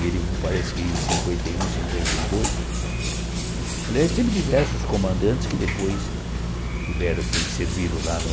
E ele, parece que em cinquenta e um, cinquenta e dois, aliás, teve diversos comandantes que depois tiveram que servir lá no